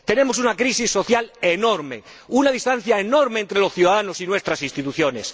Tenemos una crisis social enorme, una distancia enorme entre los ciudadanos y nuestras instituciones.